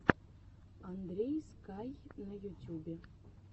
андрей скай на ютюбе